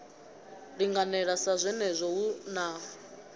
linganela sa zwenezwo hu na